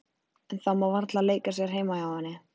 En það má varla leika sér heima hjá henni.